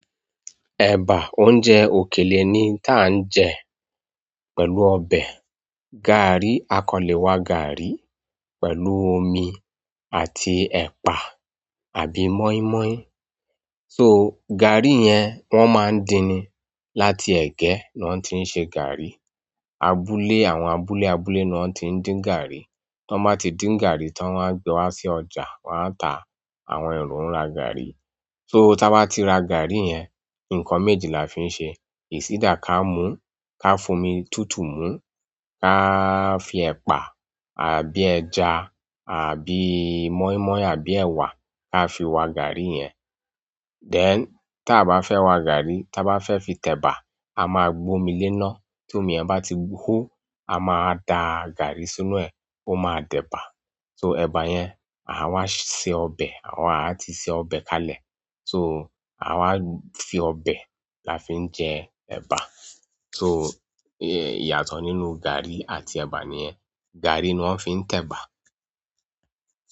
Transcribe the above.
Eba oúnjẹ òkèlè ni ti an jẹ pẹ̀lú ọbẹ̀, gaari. A kọ́ le wa gàárì pẹ̀lú omi àti ẹ̀pà àbí mọ́ímọ́í. So gàárì yẹn wọ́n máa ń dín ni. Láti ẹ̀gẹ́ ni wọ́n ti ń ṣe gàárì. Abúlé, àwọn abúlé abuké ni won tin din gaari tọ́n bá ti dín gàárì tań won a gbe wa sí ọjà, wọ́n á ta. Àwọn èrò ń ra gàárì. So táa bá ti ra gàárì yẹn, nǹkan méjì la fi ń ṣe. Is either ká mú, ká fi omi tùtù mú, ká fi ẹ̀pà àbí ẹja àbí mọ́ímọ́í àbí ẹ̀wà ká fi wa gàárì yẹn. Then, táa bá fẹ́ wa gàárì, tá bá fẹ́ fi tẹ̀bà, a máa gbomi léná. Tomi yen ba ti ho, a ma wa da gaari sínú e o ma wa di eba so ẹ̀bà yẹn, àwa ṣe ọbẹ̀ awa aa ti se ọbẹ̀ kalẹ̀. So àwa fi ọbẹ̀ la fi ń jẹ ẹ̀bà. So ìyàtọ̀ nínú gàárì àti ẹ̀bà nìyẹn. Gàárì ni wọ́n fi ń tẹ̀bà.